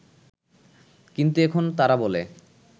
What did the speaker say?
কিন্তু এখন তারা বলে